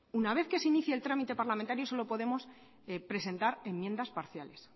una vez que se inicie el trámite parlamentario solo podemos presentar enmiendas parciales